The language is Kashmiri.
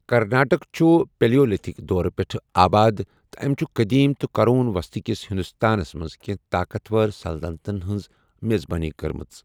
کرناٹک چھُ پیلیولتھک دورٕ پٮ۪ٹھٕ آباد تہٕ أمۍ چھُ قٔدیٖم تہٕ قرون وسطی کِس ہندوستانَس منٛز کینٛہہ طاقتور سلطنتَن ہٕنٛز میزبٲنی کٔرمٕژ۔